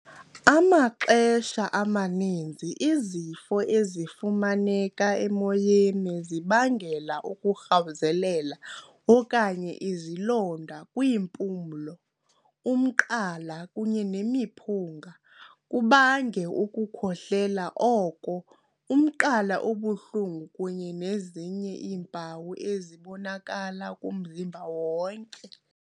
Amaxesha amaninzi izifo ezifumaneka emoyeni zibangela ukurhawuzelela okanye izilonda kwiimpumlo, umqala kunye nemiphunga, kubange ukukhohlela oko, umqala obuhlungu, kunye nezinye iimpawu ezibonakala kumzimba wonke.